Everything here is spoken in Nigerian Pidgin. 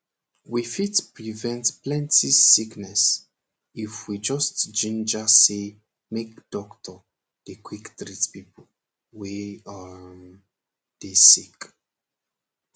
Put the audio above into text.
we fit prevent plenty sickness if we just ginger say make doctor dey quick treat pipo wey um dey sick